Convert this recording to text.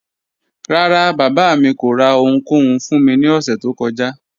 Ràrá, baba mi kò rà ọ̀hùnkòhùn fún mí ni òṣẹ tó kọ́jà